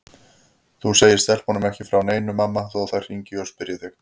Þú segir stelpunum ekki frá neinu mamma þó þær hringi og spyrji þig.